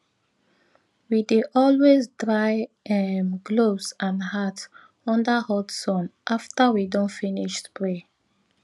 we dey always dry um gloves and hat under hot sun after we don finish spray